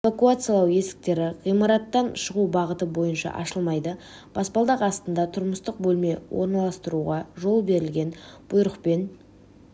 эвакуациялау есіктері ғимараттан шығу бағыты бойынша ашылмайды баспалдақ астында тұрмыстық бөлме орналастыруға жол берілген бұйрықпен